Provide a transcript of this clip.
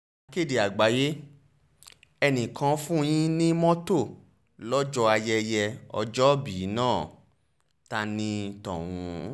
akéde àgbáyé ẹnìkan fún yín ní mọ́tò lọ́jọ́ ayẹyẹ ọjọ́òbí náà ta ní tọ̀hún